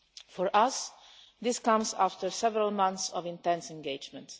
For us, this comes after several months of intense engagement.